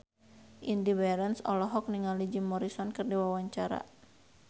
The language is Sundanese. Indy Barens olohok ningali Jim Morrison keur diwawancara